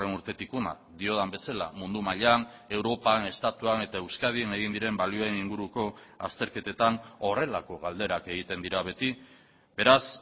urtetik hona diodan bezala mundu mailan europan estatuan eta euskadin egin diren balioen inguruko azterketetan horrelako galderak egiten dira beti beraz